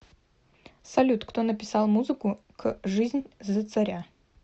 салют кто написал музыку к жизнь за царя